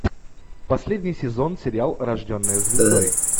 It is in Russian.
последний сезон сериал рожденная звездой